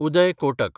Uday Kotak